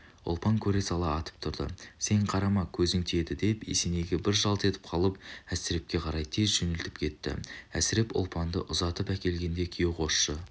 ұлпан көре сала атып тұрды сен қарама көзің тиеді деп есенейге бір жалт етіп қалып әсірепке қарай тез жөнеліп кетті әсіреп ұлпанды ұзатып әкелгенде күйеу-қосшы